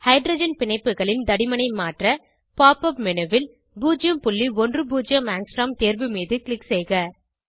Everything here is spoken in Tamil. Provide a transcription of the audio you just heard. ஹைட்ரஜன் பிணைப்புகளின் தடிமனை மாற்ற pop up மேனு ல் 010 ஆங்ஸ்ட்ரோம் தேர்வு மீது க்ளிக் செய்க